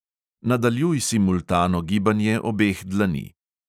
Nadaljuj simultano gibanje obeh dlani.